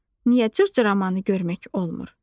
Niyə cırcıramanı görmək olmur?